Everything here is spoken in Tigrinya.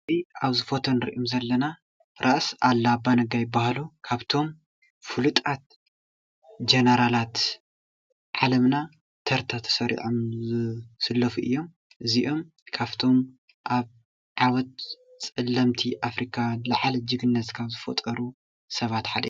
ኣብዚ ፎቶ እንሪኦ ዘለና ራስ ኣሉላ ኣባ ነጋ ይባሃሉ፡፡ ካብቶም ፍሉጣት ጀነራላት ዓለምና ተርታ ተሰሪዖም ዝስለፉ እዮም፡፡ እዚኦም ካብቶም ኣበ ዓወት ፀለምቲ አፍሪካውያን ዝለዓለ ጅግንነት ካብ ዝፈጠሩ ሰባት ሓደ እዮም፡፡